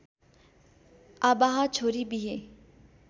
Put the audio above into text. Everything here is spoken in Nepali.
आवाह छोरी बिहे